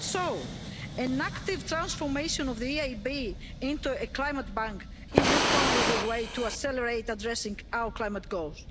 So, an active transformation of the EIB into a climate bank is not only the way to accelerate addressing our climate goals.